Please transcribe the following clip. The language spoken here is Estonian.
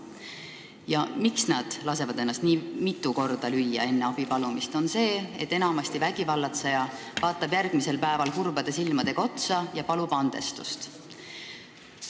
Põhjus, miks lastakse ennast enne abipalumist nii mitu korda lüüa, on see, et enamasti vaatab vägivallatseja ohvrile järgmisel päeval kurbade silmadega otsa ja palub andestust.